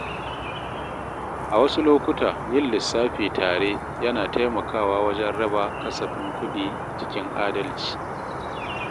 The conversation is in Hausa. A wasu lokuta, yin lissafi tare yana taimakawa wajen raba kasafin kuɗi cikin adalci.